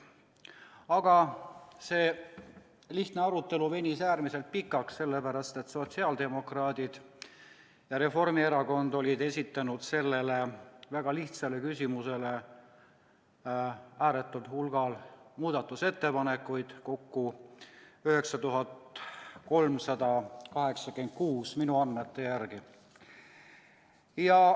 Aga see lihtne arutelu venis äärmiselt pikaks, sellepärast et sotsiaaldemokraadid ja Reformierakond olid esitanud selle väga lihtsa küsimuse kohta ääretul hulgal muudatusettepanekuid, kokku 9386 minu andmete järgi.